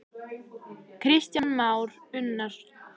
Vilgeir, slökktu á niðurteljaranum.